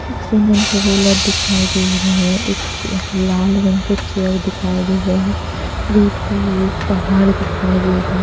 एक cement roller दिखाई दे रहा है एक चेयर लाल रंग के चेयर दिखाई दे रहे हैं दूर पे ही एक पहाड़ दिखाई दे रहे।